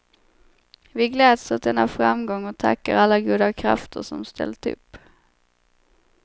Vi gläds åt denna framgång och tackar alla goda krafter som ställt upp.